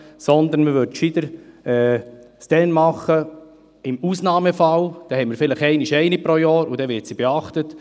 Man würde sie besser nur im Ausnahmefall einsetzen, dann hätten wir vielleicht eine pro Jahr, und dann wird diese auch beachtet.